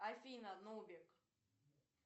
афина нубик